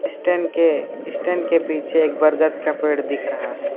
Stand के stand के पीछे एक बरगद का पेड़ दिख रहा है।